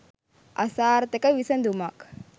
අසාර්ථක විසඳුමක්